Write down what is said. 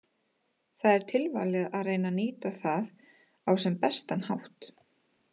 Það er tilvalið að reyna að nýta það á sem bestan hátt.